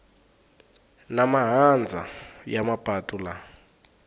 na mahandza ya mapatu laha